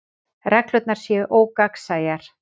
Reglurnar séu ógagnsæjar